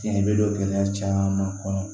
Cɛn bɛ don gɛlɛya caman kɔnɔ